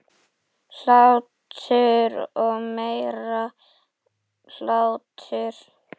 Hlátur og meiri hlátur.